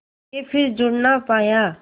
के फिर जुड़ ना पाया